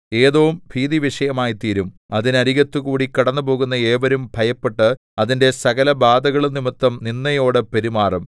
ഏദോം ഭീതിവിഷയമായിത്തീരും അതിനരികത്തുകൂടി കടന്നുപോകുന്ന ഏവരും ഭയപ്പെട്ട് അതിന്റെ സകലബാധകളും നിമിത്തം നിന്ദയോടെ പെരുമാറും